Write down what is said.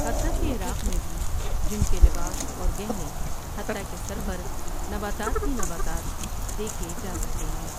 حتیٰ کہ عراق میں بھی جن کے لباس اور گہنے حتیٰ کہ سر پر نباتات ہی نباتات دیکھے جا سکتے ہیں۔